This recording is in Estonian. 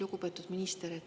Lugupeetud minister!